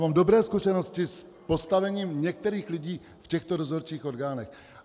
Mám dobré zkušenosti s postavením některých lidí v těchto dozorčích orgánech.